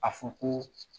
A fɔ ko